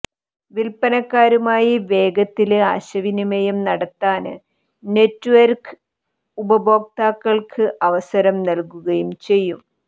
വില്പ്പനക്കാരുമായി വേഗത്തില് ആയശവിനിമയം നടത്താന് നെറ്റ്വര്ക്ക് ഉപഭോക്താക്കള്ക്ക് അവസരം നല്കുകയും ചെയ്യും